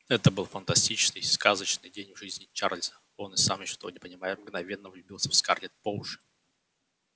это был фантастический сказочный день в жизни чарлза и он сам ещё того не понимая мгновенно влюбился в скарлетт по уши